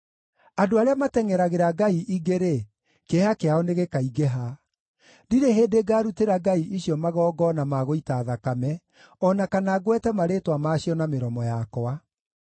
Andũ arĩa matengʼeragĩra ngai ingĩ-rĩ, kĩeha kĩao nĩgĩkaingĩha. Ndirĩ hĩndĩ ngarutĩra ngai icio magongona ma gũita thakame, o na kana ngwete marĩĩtwa maacio na mĩromo yakwa.